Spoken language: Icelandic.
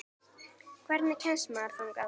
Hvernig kemst maður þangað?